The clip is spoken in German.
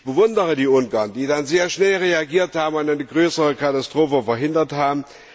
Ich bewundere die Ungarn, die dann sehr schnell reagiert und eine größere Katastrophe verhindert haben.